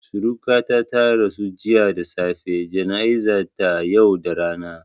Suriƙata ta rasu jiya da safe, jana'izan ta yau da rana